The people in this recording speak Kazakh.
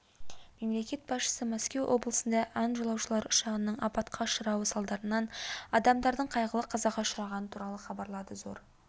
мемлекет басшысы мәскеу облысында ан жолаушылар ұшағының апатқа ұшырауы салдарынан адамдардың қайғылы қазаға ұшырағаны туралы хабарды зор